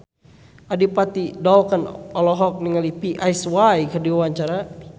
Adipati Dolken olohok ningali Psy keur diwawancara